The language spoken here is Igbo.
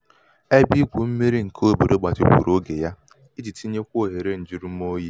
ebe igwu mmiri nke obodo gbatikwuru oge ya iji tinyekwuo ohere um njujurumoyi